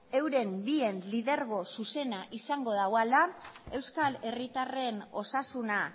euren bien lidergo zuzena izango duela euskal herritarren osasuna